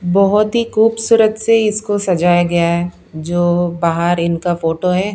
बहुत ही खूबसूरत से इसको सजाया गया है जो बाहर इनका फोटो है।